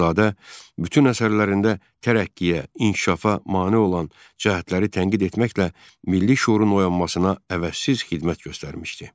Axundzadə bütün əsərlərində tərəqqiyə, inkişafa mane olan cəhətləri tənqid etməklə milli şüurun oyanmasına əvəzsiz xidmət göstərmişdi.